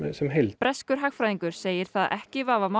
sem heild breskur hagfræðingur segir það ekki vafamál